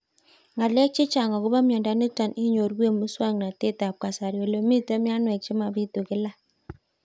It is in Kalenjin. Ng'alek chechang' akopo miondo nitok inyoru eng' muswog'natet ab kasari ole mito mianwek che mapitu kila